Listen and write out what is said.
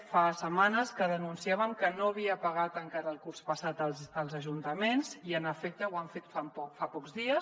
fa setmanes que denunciàvem que no havia pagat encara el curs passat als ajuntaments i en efecte ho han fet fa pocs dies